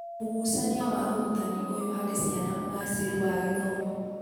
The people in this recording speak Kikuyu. Ũgucania wa ũrutani ũyũ harĩ ciana ũgaacĩru wa gĩthomo.